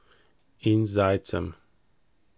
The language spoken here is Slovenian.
In zajcem.